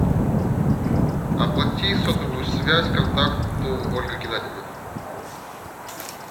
оплати сотовую связь контакту ольга геннадьевна